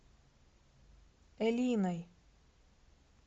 элиной